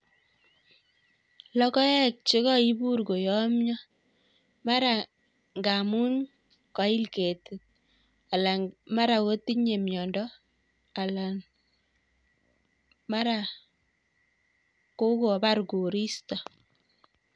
Logoek chekaibur koyamyo mara ngaamun koil ketit alan komara kotinye mnyondo alan mara kokobar koristo